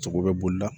Sogo bɛ bolila